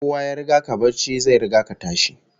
Kowa ya riga ka barci, zai riga ka tashi